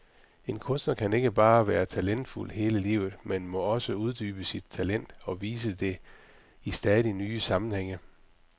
En kunstner kan ikke bare være talentfuld hele livet, men må uddybe sit talent, og vise det i stadigt nye sammenhænge.